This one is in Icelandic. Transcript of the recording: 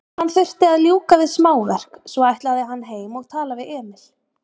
Hann þurfti að ljúka við smáverk, svo ætlaði hann heim og tala við Emil.